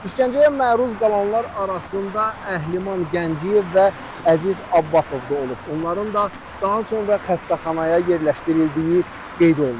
İşgəncəyə məruz qalanlar arasında Əhliman Gəncəyev və Əziz Abbasov da olub, onların da daha sonra xəstəxanaya yerləşdirildiyi qeyd olunub.